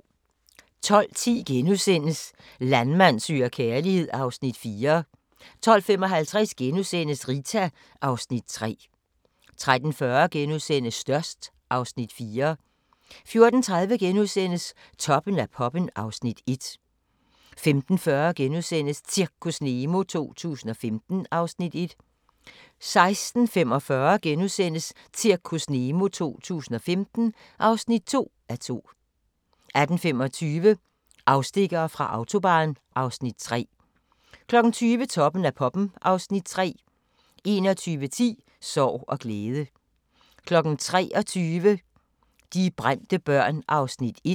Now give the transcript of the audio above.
12:10: Landmand søger kærlighed (Afs. 4)* 12:55: Rita (Afs. 3)* 13:40: Størst (Afs. 4)* 14:30: Toppen af poppen (Afs. 1)* 15:40: Zirkus Nemo 2015 (1:2)* 16:45: Zirkus Nemo 2015 (2:2)* 18:25: Afstikkere fra Autobahn (Afs. 3) 20:00: Toppen af poppen (Afs. 3) 21:10: Sorg og glæde 23:00: De brændte børn (Afs. 1)